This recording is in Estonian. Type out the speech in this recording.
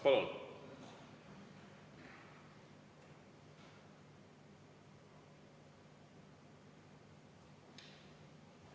Palun!